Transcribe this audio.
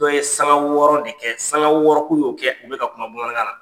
Dɔ ye sanŋa wɔɔrɔ de kɛ sanŋa wɔɔrɔ k'u y'o kɛ u bɛ ka kuma bamanankan na.